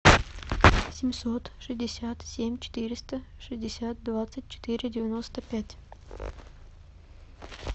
семьсот шестьдесят семь четыреста шестьдесят двадцать четыре девяносто пять